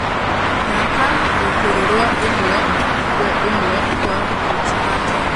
thaka gūkūrū rwa īmwe kwe īmwe rwa buju banton